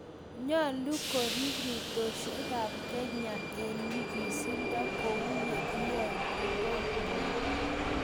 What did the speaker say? nyoolu koriib rotiosiekab Kenya eng nyiganstet kou ye kiyai Kukoe Moi